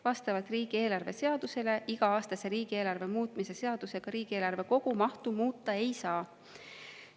Vastavalt riigieelarve seadusele iga-aastase riigieelarve muutmise seadusega riigieelarve kogumahtu muuta ei saa.